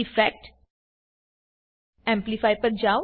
effect amplify પર જાવ